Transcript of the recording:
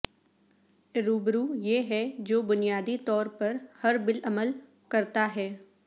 یروبرو یہ ہے جو بنیادی طور پر ہربالعمل کرتا ہے